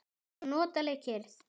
Það var notaleg kyrrð.